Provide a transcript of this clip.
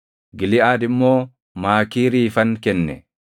Giliʼaad immoo Maakiiriifan kenne.